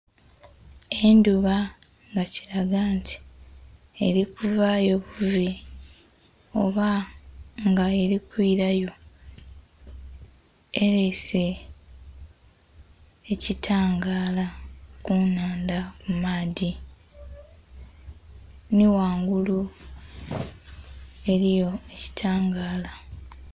Endhuba nga kiraga nti eri kuvayo buve oba nga erikwirayo erese ekitangala kunhandha kumaadhi nhi ghangulu eriyo ekitangala.